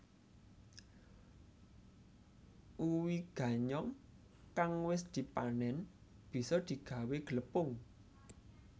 Uwi ganyong kang wis dipanén bisa digawé glepung